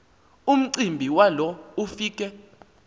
umcimbi walo ufike